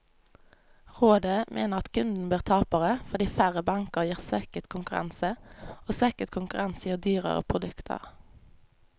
Rådet mener at kundene blir tapere, fordi færre banker gir svekket konkurranse, og svekket konkurranse gir dyrere produkter.